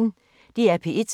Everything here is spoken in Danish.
DR P1